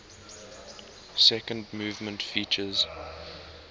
second movement features